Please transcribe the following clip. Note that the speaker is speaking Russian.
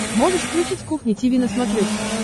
можешь включить кухня тиви на смотрешке